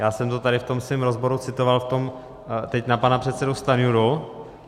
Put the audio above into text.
Já jsem to tady v tom svém rozboru citoval - teď na pana předsedu Stanjuru.